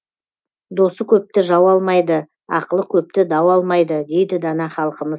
досы көпті жау алмайды ақылы көпті дау алмайды дейді дана халқымыз